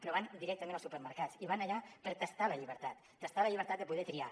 però van directament als supermercats i van allà per tastar la llibertat tastar la llibertat de poder triar